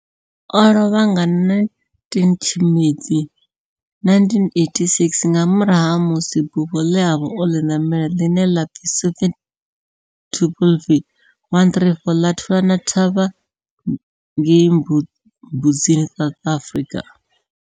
O lovha nga 19 Tshimedzi 1986 nga murahu ha musi bufho le a vha o li namela, line la pfi Soviet Tupolev 134 la thulana thavha ngei Mbuzini, South Africa.